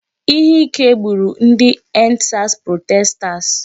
Ihe ike gburu ndị 'end sars protesters '.